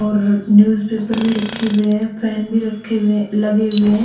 और newspaper भी रखे हुए है और फेन भी रखे हुए लगे हुए है।